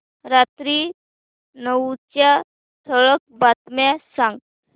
रात्री नऊच्या ठळक बातम्या सांग